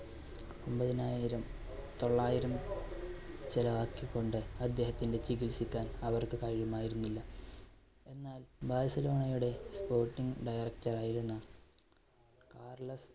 ഒമ്പതിനായിരം തൊള്ളായിരം ചെലവാക്കി കൊണ്ട് അദേഹത്തിന്റെ ചികിൽസിക്കാൻ അവർക്ക് കഴിയുമായിരുന്നില്ല, എന്നാൽ ബാഴ്സലോണയുടെ sporting director ആയിരുന്ന കാർലെസ്